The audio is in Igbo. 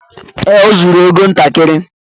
Ee, o zuru égo ntakịrị